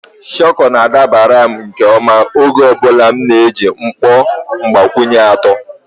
Shuku na-adabara m nke ọma oge ọ bụla m na-eji mkpọ mgbakwunye atọ.